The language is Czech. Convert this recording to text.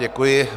Děkuji.